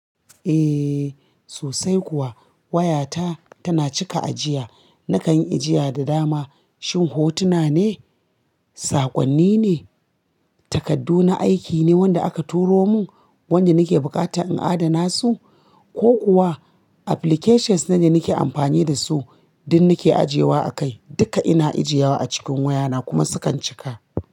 Eh sosai kuwa wayata tana cika ajiya. Nakan ajiya da dama. Shin hotuna ne, saƙonni ne, takardu na aiki ne wanda aka turo mun, wanda nake buƙata in adana su ko kuwa applications ne nake amfani dasu, duk nake ajiyewa a kai. Duka ina ajiyewa a cikin wayana kuma sukan cika.